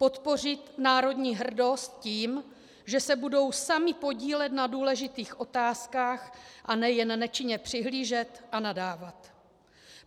Podpořit národní hrdost tím, že se budou sami podílet na důležitých otázkách, a ne jen nečinně přihlížet a nadávat.